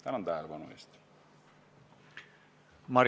Tänan tähelepanu eest!